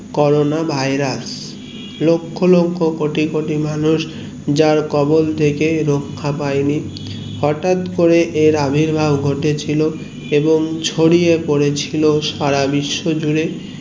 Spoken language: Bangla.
করোনা ভাইরাস লক্ষ লক্ষ কোটিকোটি যার খবল থেকে রাখা পাইনি হটাৎ করে আবির্ভাব ঘটে ছিলো এবং ছড়িয়ে পড়েছিল সারা বিশ্ব জুড়ে